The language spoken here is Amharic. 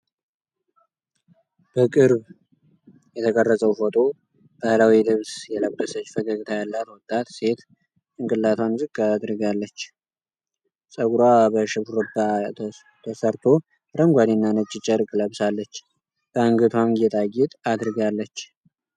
በቅርብ የተቀረጸው ፎቶ ባህላዊ ልብስ የለበሰች ፈገግታ ያላት ወጣት ሴት ጭንቅላቷን ዝቅ አድርጋለች። ጸጉሯ በሽሩባ ተሠርቶ አረንጓዴና ነጭ ጨርቅ ለብሳለች፤ በአንገቷም ጌጣጌጥ አድርጋለች።